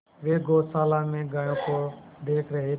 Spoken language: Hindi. वे गौशाला में गायों को देख रहे थे